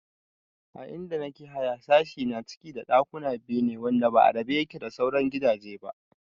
A inda nake haya sashi na ciki da ɗakuna biyu ne wanda ba a rabe yake da sauran gidaje ba